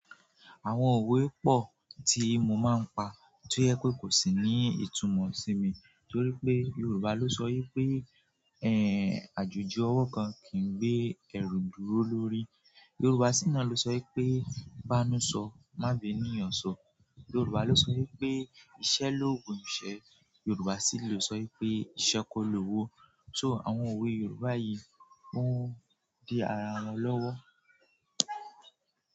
Àwọn òwe pọ ti mo ma n pa ti o yẹ pe kosi ni itumọ simi torí pe Yoruba lo sọ wí pé ẹ, àjòjì ọwọ kan kìí n gbé ẹrù dúró lórí. Yorùbá sina lo so wí pé bá nu so má b'ènìyàn niyan sọ. Yorùbá lo sọ wí pé iṣẹ́ l'ógùn iṣẹ́. Yorùbá si lo sọ wí pé iṣẹ́ kọ lówó. So àwọn òwe Yoruba yi on di àrà wọn lọwọ.